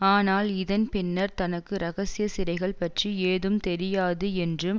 ஆனால் இதன் பின்னர் தனக்கு இரகசிய சிறைகள் பற்றி ஏதும் தெரியாது என்றும்